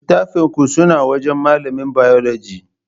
Littafin ku suna wajan malamin Bayologi